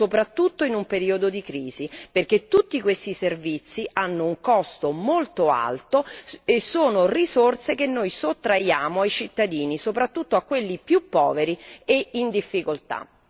Questo non è equo, soprattutto in un periodo di crisi, perché tutti questi servizi hanno un costo molto alto e sono risorse che noi sottraiamo ai cittadini, soprattutto a quelli più poveri e in difficoltà.